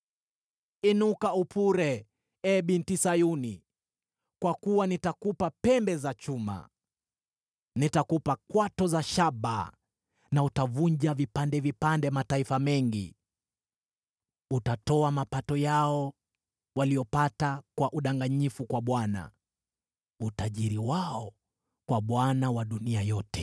“Inuka upure, ee Binti Sayuni, kwa kuwa nitakupa pembe za chuma; nitakupa kwato za shaba na utavunja vipande vipande mataifa mengi.” Utatoa mapato yao waliopata kwa udanganyifu kwa Bwana , utajiri wao kwa Bwana wa dunia yote.